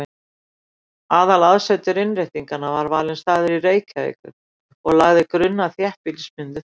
Aðalaðsetur Innréttinganna var valinn staður í Reykjavík og lagði grunn að þéttbýlismyndun þar.